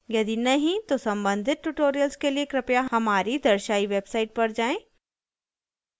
यदि नहीं तो सम्बंधित tutorials के लिए कृपया हमारी दर्शायी website पर जाएँ